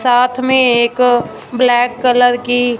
साथ में एक ब्लैक कलर की--